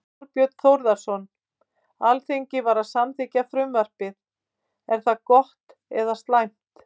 Þorbjörn Þórðarson: Alþingi var að samþykkja frumvarpið, er það gott eða slæmt?